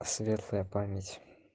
светлая память